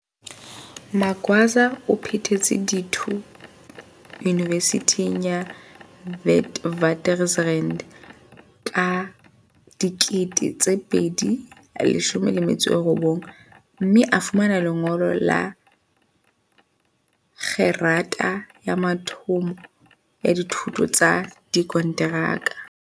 Magwaza o phethetse dithuto yunivesithing ya Witwatersrand ka 2019, mme a fumana lengolo la kgerata ya mathomo ya dithuto tsa dikonteraka.